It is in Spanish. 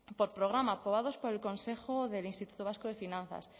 por programa aprobados por el consejo del instituto vasco de finanzas